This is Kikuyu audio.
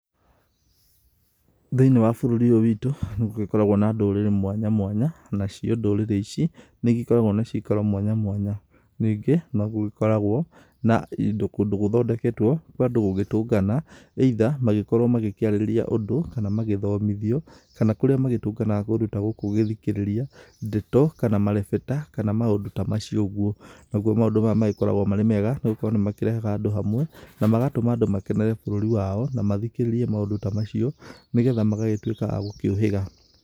Thĩinĩ wa bũrũri ũyũ witũ nĩ gũgĩkoragwo na ndũrĩrĩ mwanya mwanya nacio ndũrĩrĩ ici nĩ ĩgĩkoragwo na cikaro mwanya mwanya ,ningĩ nogũgĩkoragwo na kũndũ gũthondeketwo kwa andũ gũgĩtũngana either magĩkorwo magĩkĩarĩrĩria ũndũ kana magĩthomithio kana kũrĩa magĩtũnganaga kũndũ ta gũku gũthikĩrĩria ndeto kana marebeta kana maũndũ ta macio ũgũo, nagũo maũndũ maya makoragwo me mega nĩgũkorwo nĩ marehaga andũ hamwe na magatũma andũ makenerere bũrũri wao na mathikĩrĩrie maũndũ ta macio nĩgetha magagĩtuika agũkĩ ũhĩga.